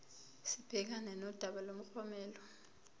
sibhekane nodaba lomklomelo